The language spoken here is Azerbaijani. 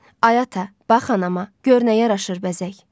Ay ata, bax anama, gör nə yaraşır bəzək.